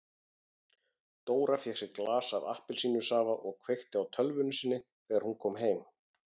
Dóra fékk sér glas af appelsínusafa og kveikti á tölvunni sinni þegar hún kom heim.